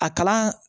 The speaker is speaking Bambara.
A kalan